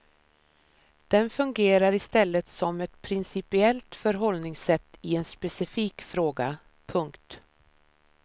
Den fungerar i stället som ett principiellt förhållningssätt i en specifik fråga. punkt